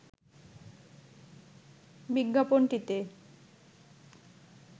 বিজ্ঞাপনটিতে